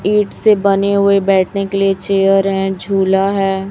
ईट से बने हुए बैठने के लिए चेयर हैं झूला है।